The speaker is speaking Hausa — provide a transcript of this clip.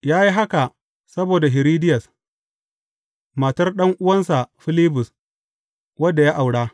Ya yi haka saboda Hiridiyas, matar ɗan’uwansa Filibus, wadda ya aura.